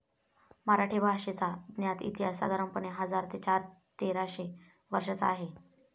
मराठी भाषेचा ज्ञात इतिहास साधारणपणे हजार ते तेराशे वर्षाचा आहे.